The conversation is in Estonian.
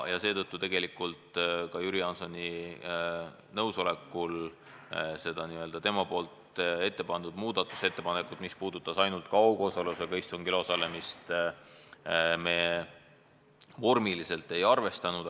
Seetõttu me Jüri Jaansoni nõusolekul seda tema ette pandud muudatusettepanekut, mis puudutas ainult kaugosalusega istungil osalemist, vormiliselt ei arvestanud.